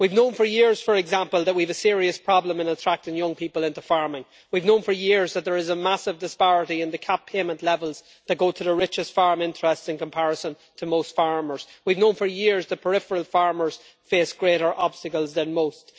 We have known for years, for example, that we have a serious problem in attracting young people into farming. We have known for years that there is a massive disparity in the CAP payment levels that go to the richest farm interests in comparison to most farmers, and we have also known for years that peripheral farmers face greater obstacles than most.